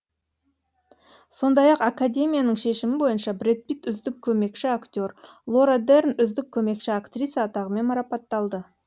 сондай ақ академияның шешімі бойынша бред питт үздік көмекші актер лора дерн үздік көмекші актриса атағымен марапатталды